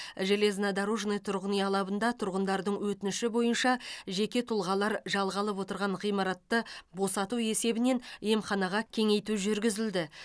железнодорожный тұрғын үй алабында тұрғындардың өтініші бойынша жеке тұлғалар жалға алып отырған ғимаратты босату есебінен емханаға кеңейту жүргізілді